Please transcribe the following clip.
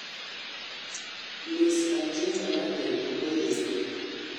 miss algeria marateng' okoyier